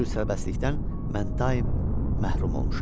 Bu cür sərbəstlikdən mən daim məhrum olmuşam.